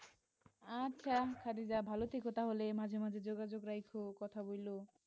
আচ্ছা খাদিজা ভালো থেকো তাহলে মাঝে মাঝে যোগাযোগ রাইখো কথা বইলো।